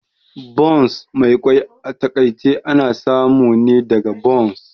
Buns Mai kwai a takaice ana samu ne daga buns